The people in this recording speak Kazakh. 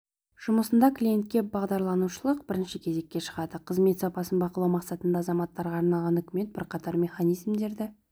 жұмысында клиентке бағдарланушылық бірінші кезекке шығады қызмет сапасын бақылау мақсатында азаматтарға арналған үкімет бірқатар механизмдерді